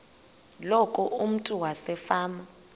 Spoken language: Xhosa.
loku umntu wasefama